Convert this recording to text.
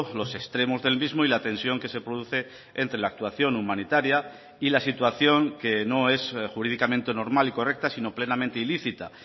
los extremos del mismo y la tensión que se produce entre la actuación humanitaria y la situación que no es jurídicamente normal y correcta sino plenamente ilícita